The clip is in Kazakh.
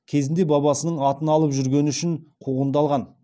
кезінде бабасының атын алып жүргені үшін қуғындалған